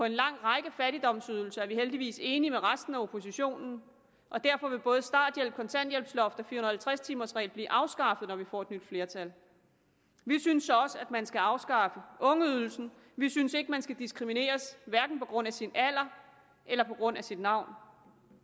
en lang række fattigdomsydelser er vi heldigvis enige med resten af oppositionen og derfor vil både starthjælp kontanthjælpsloft og fire hundrede og halvtreds timers regel blive afskaffet når vi får et nyt flertal vi synes også man skal afskaffe ungeydelsen vi synes ikke man skal diskrimineres hverken på grund af sin alder eller på grund af sit navn